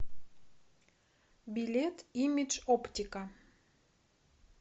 билет имидж оптика